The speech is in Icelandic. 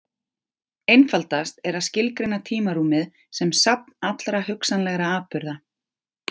Einfaldast er að skilgreina tímarúmið sem safn allra hugsanlegra atburða.